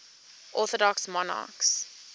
orthodox monarchs